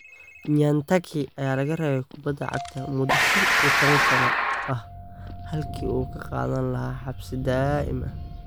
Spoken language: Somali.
Nyantakyi ayaa laga reebay kubadda cagta muddo shan iyo tawan sano ah halkii uu ka qaadan lahaa xabsi daa'im ah.